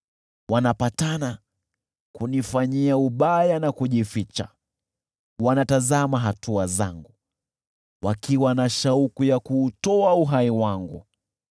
Wananifanyia hila, wanajificha, wanatazama hatua zangu, wakiwa na shauku ya kuutoa uhai wangu.